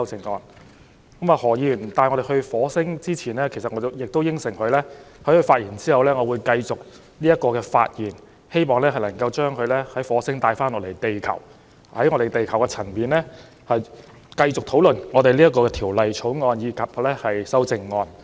在何議員把我們帶到火星前，我答應了會在他發言之後繼續發言，希望把大家從火星帶回地球，從地球層面繼續討論這項《條例草案》和修正案。